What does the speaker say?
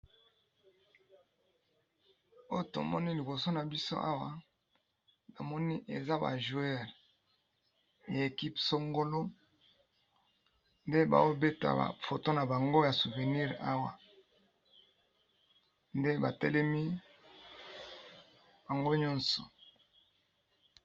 Oyo tomoni liboso na biso Awatomoni eza ba joueurs ya équipe songolo ndebazo beta photo yaba souvenir ,ndebatelemi bango nyoso.